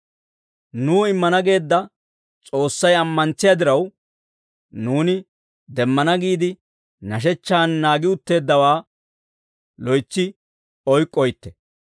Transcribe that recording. Nuw immana geedda S'oossay ammantsiyaa diraw, nuuni demmana giide nashechchaan naagi utteeddawaa loytsi oyk'k'oytte.